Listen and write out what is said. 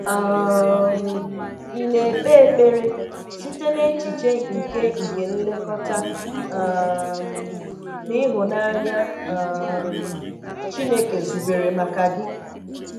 um Ị na-ekpe ekpere site n'echiche nke nke nlekọta um na ịhụnanya um Chineke zubere maka gị?